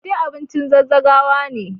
Fate abincin zazzagawa ne.